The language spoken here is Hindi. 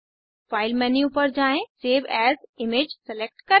फाइल मेन्यू पर जाएँ सेव एएस इमेज सेलेक्ट करें